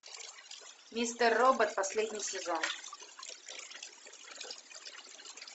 мистер робот последний сезон